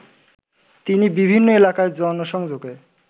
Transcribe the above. তিনি বিভিন্ন এলাকায় জনসংযোগে